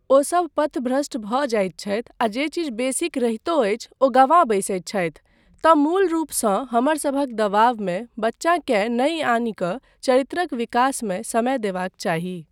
ओसभ पथभ्रष्ट भऽ जाइत छथि आ जे चीज बेसिक रहितो अछि ओ गँवा बैसैत छथि तँ मूल रूपसँ हमरसभक दबावमे बच्चाकेँ नहि आनि कऽ चरित्रक विकासमे समय देबाक चाही।